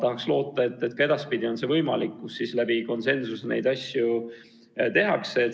Ma loodan, et ka edaspidi on see võimalik ja asju otsustatakse konsensusega.